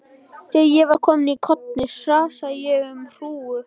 Þegar ég var komin í hornið hrasaði ég um hrúgu.